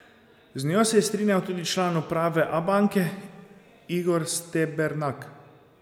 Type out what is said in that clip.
Z njo se je strinjal tudi član uprave Abanke Igor Stebernak.